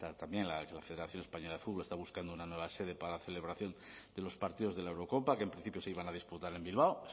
también la federación española de fútbol está buscando una nueva sede para la celebración de los partidos de la eurocopa que en principio se iban a disputar en bilbao